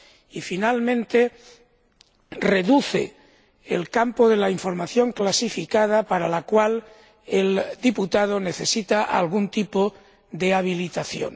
y, por último, reduce el campo de la información clasificada para la cual el diputado necesita algún tipo de habilitación.